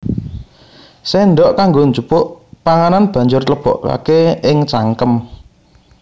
Séndhok kanggo njupuk panganan banjur lebokaké ing cangkem